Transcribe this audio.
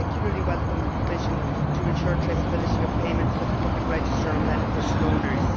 I particularly welcome the provision to ensure the traceability of payments with the public register on beneficial owners.